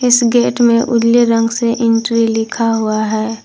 इस गेट में उजले रंग से एंट्री लिखा हुआ है।